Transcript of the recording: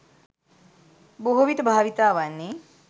බොහෝවිට භාවිතා වන්නේ